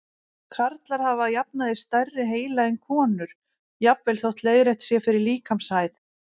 Karlar hafa að jafnaði stærri heila en konur, jafnvel þótt leiðrétt sé fyrir líkamshæð.